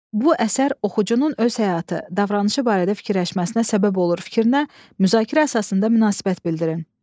Bu əsər oxucunun öz həyatı, davranışı barədə fikirləşməsinə səbəb olur fikrinə müzakirə əsasında münasibət bildirin.